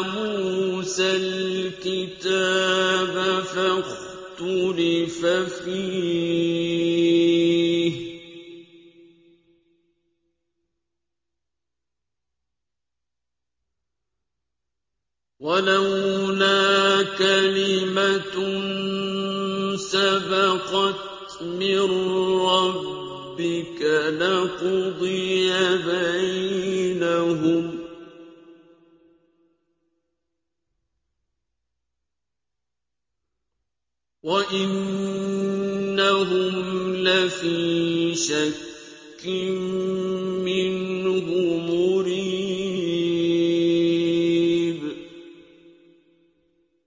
مُوسَى الْكِتَابَ فَاخْتُلِفَ فِيهِ ۗ وَلَوْلَا كَلِمَةٌ سَبَقَتْ مِن رَّبِّكَ لَقُضِيَ بَيْنَهُمْ ۚ وَإِنَّهُمْ لَفِي شَكٍّ مِّنْهُ مُرِيبٍ